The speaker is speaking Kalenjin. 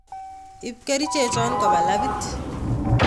Iip kerichechon kopa labit